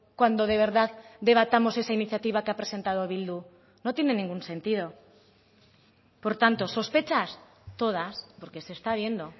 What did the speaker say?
cuando de verdad debatamos esa iniciativa que ha presentado bildu no tiene ningún sentido por tanto sospechas todas porque se está viendo